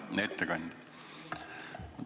Hea ettekandja!